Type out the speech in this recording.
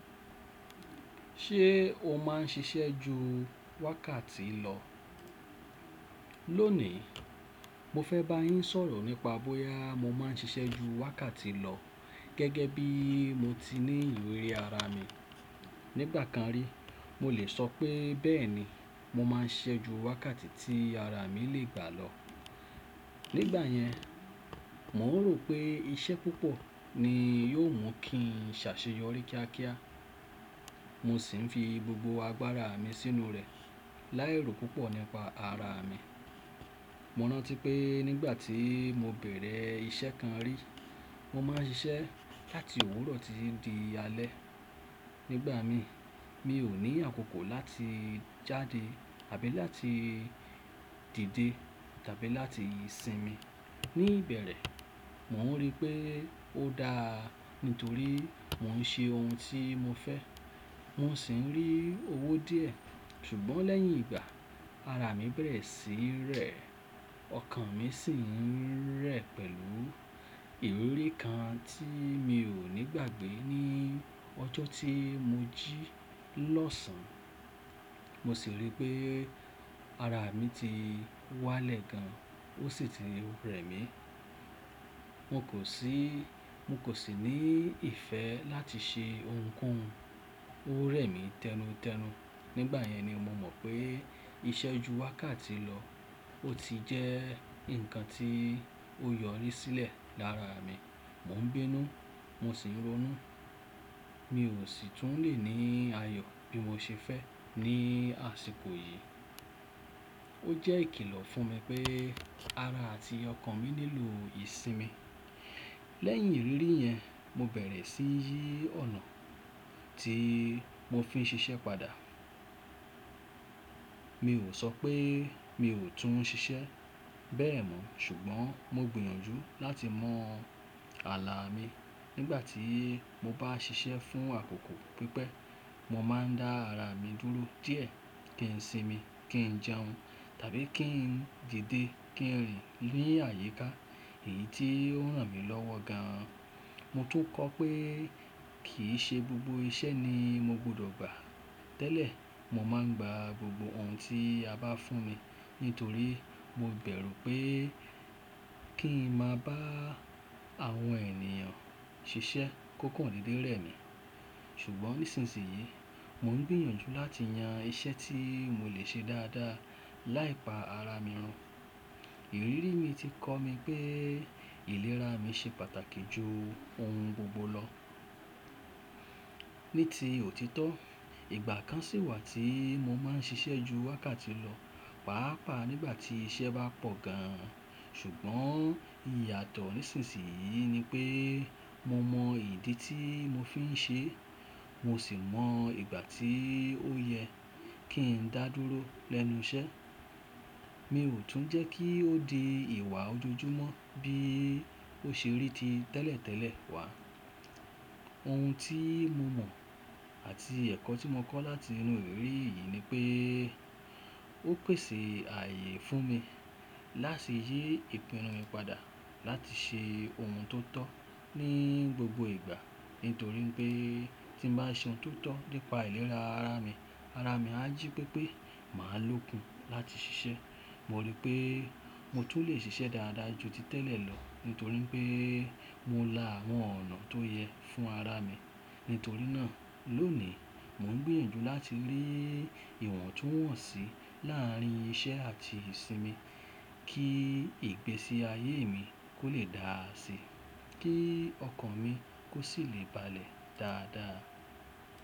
Ṣé o máà ń ṣiṣẹ́ ju wákàtí lọ? Lónìí, mo fẹ́ bá yín sọ̀rọ̀ nípa bóyá mo máà ń ṣiṣẹ́ ju wákàtí lọ gẹ́gẹ́ bí mo ti ní ìrírí ara mi. Nígbà kan rí, mo lè sọ pé bẹ́ẹ̀ni, mo máa ń ṣiṣẹ́ ju wákàtí tí ara mi lè gbà lọ. Nígbà yẹn, mò ń rò pé iṣẹ́ púpọ̀ ni yóò mú kí n ṣàṣeyọrí kíákíá. Mo sì ń fi gbogbo agbára mi sínú rẹ̀, láì ro púpọ̀ nípa ara mi. Mo rántí pé nígbà tí mo bẹ̀rẹ̀ iṣẹ́ kan rí, mo máa ń ṣiṣẹ́ láti òwúrọ̀ títí di alẹ́. Nígbà mi, mi ò ní àkókò láti jáde àbí láti dìde tàbí láti sinmi. Ní ìbẹ̀rẹ̀, mò ń rí pé ó da nítorí mò ń ṣe ohun tí mo fẹ́. Mo sì ń rí owó díẹ̀. Ṣùgbọ́n lẹ́yìn ìgbà, ara mi bẹ̀rẹ̀ sí rẹ̀. Ọkàn mi sì ń rẹ̀ pẹ̀lú ìrírí kan tí mi ò ní gbàgbé ní ọjọ́ tí mo jí lọ́sàn. Mo sì rí pé ara mi ti wá lẹ̀ gan, ó sì ti ń rẹ̀ mí. Mo kò sì, mo kò sì ní ìfẹ́ láti ṣe ohunkóhun. Ó rẹ̀ mí tẹnutẹnu. Nígbà yẹn ni mo mọ̀ pé iṣẹ́ ju wákàtí lọ ó ti jẹ́ ǹkan tí ó yọrí sílẹ̀ lára mi. Mo ń bínú, mo sì ń ronú. Mi ò sì tún le ní ayọ̀ bí mo ṣe fẹ́ ní àsìkò yìí. Ó jẹ́ ìkìlọ̀ fún mi pé ara àti ọkàn mi nílò ìsinmi. Lẹ́yìn ìrírí yẹn, mo bẹ̀rẹ̀ sí í yí ọ̀nà tí mo fi ń ṣiṣẹ́ padà. Mi ò sọ pé mi ò tún ṣiṣẹ́ bẹ̀ mọ́, ṣùgbọ́n mo gbìyànjú láti mọ ààlà mi nígbà tí mo bá ṣiṣẹ́ fún àkókò pípẹ́. Mo máa ń dá ara mi dúró díẹ̀ kí n sinmi, kí n jẹun tàbí kí n dìde, kí n rìn ni àyíká. Èyí tí ó ràn mí lọ́wọ́ gan. Mo tún kọ́ pé kì í ṣe gbogbo iṣẹ́ ni mo gbọdọ̀ gbà. Tẹ́lẹ̀, mo máa ń gba gbogbo ohun tí a bá fún mi nítorí mo bẹ̀rù pé kí n máa bá àwọn ènìyàn ṣiṣẹ́ kókàn dédé rẹ mi. Ṣùgbọ́n nísinsìnyí, mò ń gbìyànjú láti yan iṣẹ́ tí mo lè ṣe dáadáa láìpa ara mi run. Ìrírí mi ti kọ́ mi pé ìlera mi ṣe pàtàkì ju ohun gbogbo lọ. Ní ti òtítọ́, ìgbà kan sì wà tí mo máa ń ṣiṣẹ́ ju wákàtí lọ, pàápàá nígbà tí iṣẹ́ bá pọ̀ gan. Ṣùgbọ́n ìyàtọ̀ nísinsìnyí ni pé mo mọ ìdí tí mo fi ń ṣe, mo sì mọ ìgbà tí ó yẹ kí n dá dúró lẹ́nu iṣẹ́. Mi ò tún jẹ́ kí ó di ìwà ojoojúmọ́ bí ó ṣe rí ti tẹ́lẹ̀tẹ́lẹ̀ wá. Ohun tí mo mọ̀ àti ẹ̀kọ́ tí mo kọ́ láti inú ìrírí yìí ni pé ó pèsè ààyè fún mi láti yí ìpinnu mi padà láti ṣe ohun tó tọ́ ní gbogbo ìgbà. Nítorí pé tí mo bá ṣe ohun tó tọ́ nípa ìlera ara mi, ara mi á jí pé pé màá lókun láti ṣiṣẹ́. Mo rí pé mo tún lè ṣiṣẹ́ dáadáa ju ti tẹ́lẹ̀ lọ nítorí pé mo la àwọn ọ̀nà tó yẹ fún ara mi. Nítorí náà, lónìí mò ń gbìyànjú láti lé ìwọ̀ntúnwọ̀nsì láàárín iṣẹ́ àti ìsinmi kí ìgbésí ayé mi kó lè dáàsí, kí ọkàn mi kó sì lè balẹ̀ dáadáa.